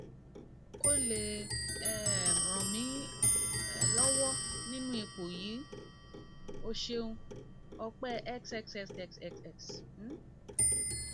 o lè um ràn mí um lọwọ nínú ipò yìí ẹ ṣeun ọpẹ xxxxx um